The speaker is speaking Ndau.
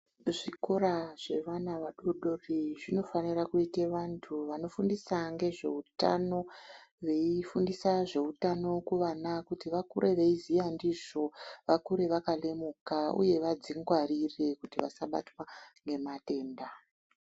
Zvikora zvevana vadodori zvinofanira kuite vantu vanofundisa ngezveutano, veifundisa zveutano kuvana kuti vakure veiziya ndizvo, vakure vakalemuka uye vadzingwarire kuti vasabatwa ngematenda.